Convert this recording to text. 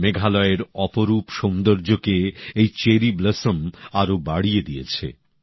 মেঘালয়ের অপরূপ সৌন্দর্যকে এই চেরি ব্লসম আরও বাড়িয়ে দিয়েছে